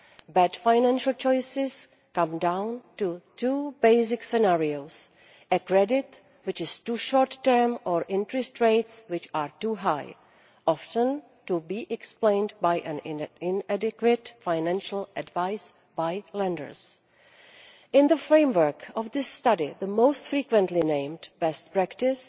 Bad financial choices come down to two basic scenarios a credit which is too short term, or interest rates which are too high, often to be explained by inadequate financial advice by lenders. In the framework of this study, the most frequently-named best practice